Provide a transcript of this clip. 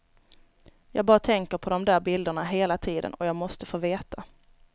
Jag bara tänker på dom där bilderna hela tiden och jag måste få veta.